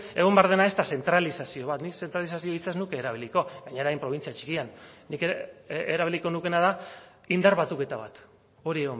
egon behar dena ez da zentralizazio bat nik zentralizazio hitza ez nuke erabiliko gainera hain probintzia txikian nik erabiliko nukeena da indar batuketa bat hori